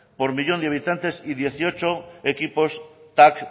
por millón de habitantes y dieciocho equipos tac